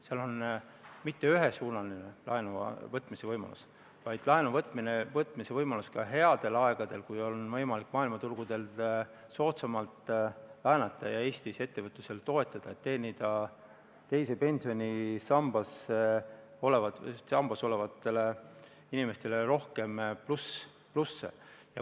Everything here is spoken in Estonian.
See pole mitte ühesuunaline laenu võtmise võimalus, vaid laenu võtmise võimalus ka headel aegadel, kui on võimalik maailmaturgudel soodsamalt laenata ja Eestis ettevõtlust toetada, et teenida teises pensionisambas olevatele inimestele rohkem plussi.